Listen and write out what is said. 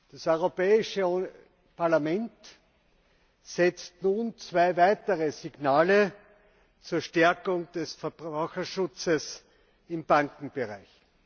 Das Europäische Parlament setzt nun zwei weitere Signale zur Stärkung des Verbraucherschutzes im Bankenbereich.